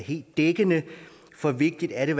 helt dækkende for vigtigt er det